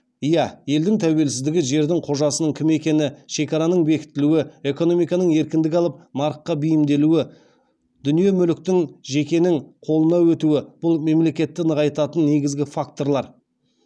иә елдің тәуелсіздігі жердің қожасының кім екені шекараның бекітілуі экономиканың еркіндік алып нарыққа бейімделуі дүние мүліктің жекенің қолына өтуі бұл мемлекетті нығайтатын негізгі факторлар